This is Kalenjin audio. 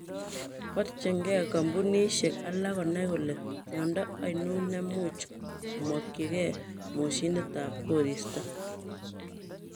Borchinke kopunishek alak konai kole miondo anon nemuch komokyike moshinit tab koristo.